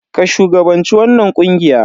Ka shugabanci wannan ƙungiya.